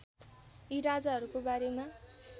यी राजाहरूको बारेमा